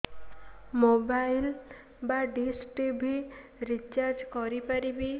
mobile ବା dish TV recharge କରି ପାରିବି